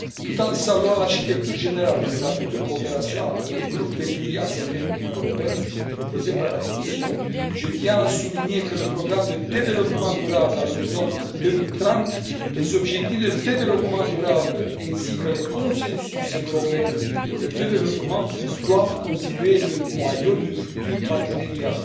Tout en saluant l'architecture générale pour la future coopération entre le groupe des pays ACP et l'Union européenne proposée par la Commission, je tiens à souligner que le programme de développement durable à l'horizon 2030, les objectifs de développement durable, ainsi que le consensus européen pour le développement doivent constituer le noyau du futur partenariat.